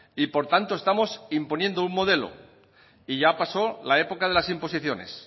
y por tanto estamos imponiendo un modelo y ya pasó la época de las imposiciones